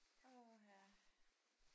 Åh ha